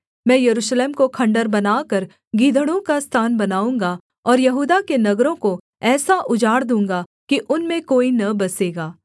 मैं यरूशलेम को खण्डहर बनाकर गीदड़ों का स्थान बनाऊँगा और यहूदा के नगरों को ऐसा उजाड़ दूँगा कि उनमें कोई न बसेगा